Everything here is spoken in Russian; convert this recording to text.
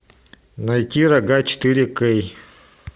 найти рога четыре кей